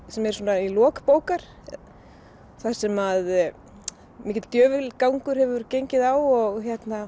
sem er svona í lok bókar þar sem að mikill djöfulgangur hefur gengið á og